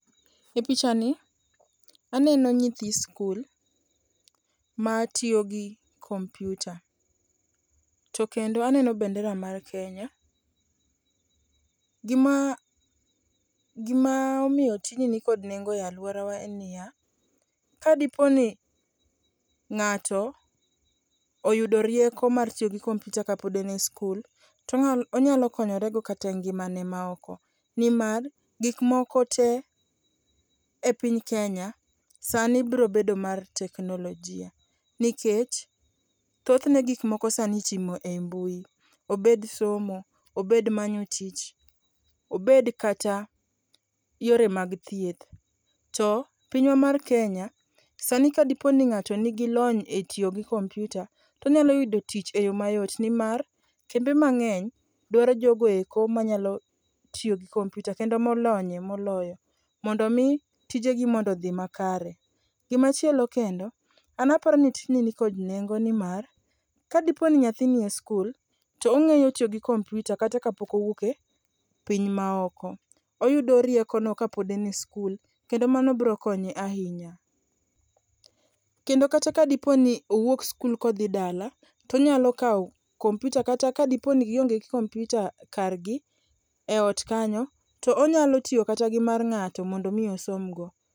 Epichani aneno nyithi sikul matiyo gi kompiuta. To mkendo aneno bende bandera mar ´Kenya. Gima omiyo tijni mikod nengo e aluorawa en niya, kadipo ni ng'ato oyudo rieko mar tiyo gi kompiuta kapod en e sikul to onyalo konyorego kata e ngimane maoko. Nimar gik moko tee e piny Kenya sani biro bedo mar teknolojia nikech thothne gik moko sani itimo ei mbui, obed somo, obed manyo tich, obed kata yore mag thieth to pinywa mar Kenya, sani ka ng'ato nigi lony etiyo gi kompiuta to onyalo yudo tich eyo mayot nimar kembe mang'eny dwaro jogo eoko manyalo tiyo gi kompiuta kendo molonye moloyo mondo mi tijegi odhi makare. Machielo kendo, an aparo ni tijni nikod nengo nimar kadipo ni ka nyathi nie sikul to ong'eyo tiyo gi kompiuta kata ka pok owuok e piny maoko. Oyudo riekono kata kapod en e sikul kendo mano biro konye ahinya. Kendo kata ka diponi owuok sikul kodhi dala to onyalo kawo kompiuta kata kadipo ni gionge kompiuta kar gi, onyalo tiyo kata gi mar ng'ato mondo okonygi